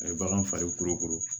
A ye bagan faga koro